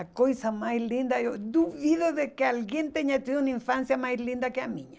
A coisa mais linda, eu eu duvido de que alguém tenha tido uma infância mais linda que a minha.